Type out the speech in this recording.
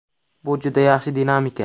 Bu juda yaxshi dinamika.